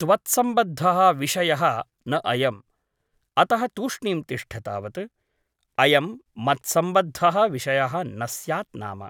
त्वत्सम्बद्धः विषयः न अयम् । अतः तूष्णीं तिष्ठ तावत् । अयं मत्सम्बद्धः विषयः न स्यात् नाम ।